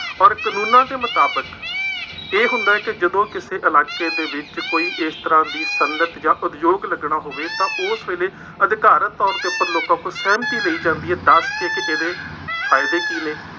ਅੋਰ ਕਾਨੂੰਂਨਾਂ ਦੇ ਮੁਤਾਬਿਕ ਇਹ ਹੁੰਦਾ ਹੈ ਕਿ ਜਦੋਂ ਕਿਸੇ ਇਲਾਕੇ ਦੇ ਵਿੱਚ ਕੋਈ ਇਸ ਤਰ੍ਹਾਂ ਦੀ ਸਨਅਤ ਦਾ ਉਦਯੋਗ ਲੱਗਣਾ ਹੋਵੇ ਤਾਂ ਉਸ ਵੇਲੇ ਅਧਿਕਾਰਤ ਤੌਰ ਤੇ ਉੱਪਰ ਲੋਕਾਂ ਕੋਲੋਂ ਸਹਿਮਤੀ ਲਈ ਜਾਂਦੀ ਹੈ, ਦੱਸ ਕੇ ਕਿ ਇਹਦੇ ਫਾਇਦੇ ਕੀ ਨੇ,